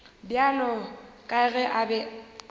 bjalo ka ge a be